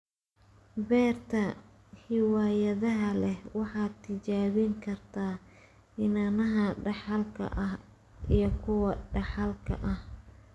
Beerta hiwaayadda leh waxay tijaabin kartaa iniinaha dhaxalka ah iyo kuwa dhaxalka ah.